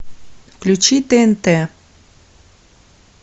включи тнт